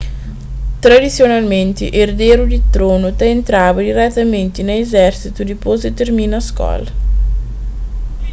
tradisionalmenti erderu di tronu ta entraba diretamenti na izérsitu dipôs di tirmina skola